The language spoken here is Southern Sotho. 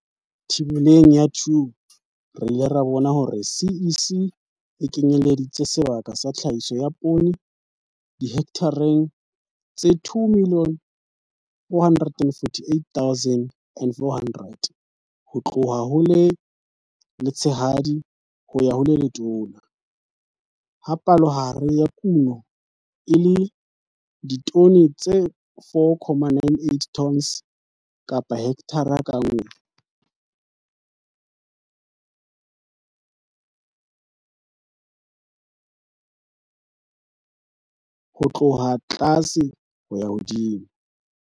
Thibeleng ya 2, re ka bona hore CEC e lekanyeditse sebaka sa tlhahiso ya poone dihekthareng tse 2 448 400 ho tloha ho le letshehadi ho ya ho le letona, ha palohare ya kuno e le ditone tse 4,98 tons kapahekthara ka nngwe ho tloha tlase ho ya hodimo.